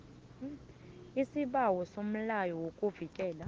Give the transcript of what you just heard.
isibawo somlayo wokuvikela